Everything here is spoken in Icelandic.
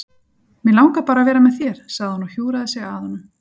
Mig langar bara að vera með þér, sagði hún og hjúfraði sig að honum.